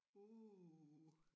Uh